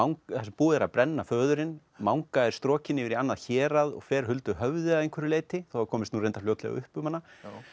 búið er að brenna föðurinn manga er strokin yfir í annað hérað fer huldu höfði að einhverju leyti þó það komist nú reyndar fljótlega upp um hana